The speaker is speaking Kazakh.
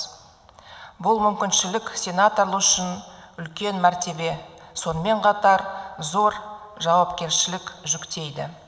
бұл мүмкіншілік сенаторлы үшін үлкен мәртебе сонымен қатар зор жауапкершілік жүктейді